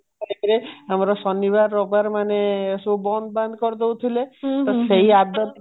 ଭିତରେ ଆମର ଶନିବାର ରବିବାର ମାନେ ସବୁ ବନ୍ଦ ବାନ୍ଦ କରିଦଉଥିଲେ ତ ସେଇ ଆଦତ